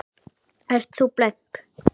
Ert þú blönk?